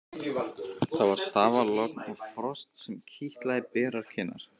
Það var stafalogn og frost sem kitlaði berar kinnar.